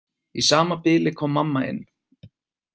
Í sama bili kom mamma inn.